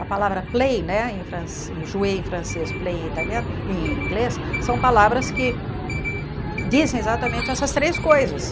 A palavra play né, em francês, play em italiano em em inglês, são palavras que dizem exatamente essas três coisas.